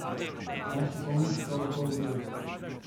Marsikomu se to lahko zgodi.